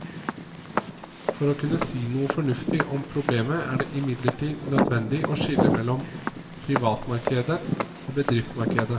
For å kunne si noe fornuftig om problemet er det imidlertid nødvendig å skille mellom privatmarkedet og bedriftsmarkedet.